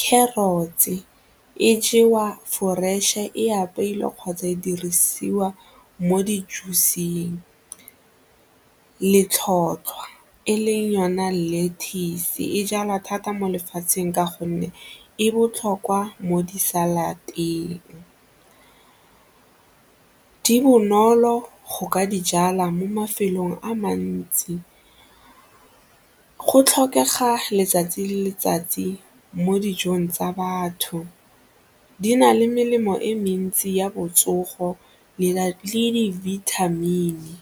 Carrots-e e jewa fresh-e, e apeilwe kgotsa e dirisiwa mo di-juice-eng. Letlhotlhwa, e leng yona lettuce e jalwa thata mo lefatsheng ka gonne e botlhokwa mo di-salad-teng, di bonolo go ka di jala mo mafelong a mantsi, go tlhokega letsatsi le letsatsi mo dijong tsa batho, di na le melemo e mentsi ya botsogo le dibithamini.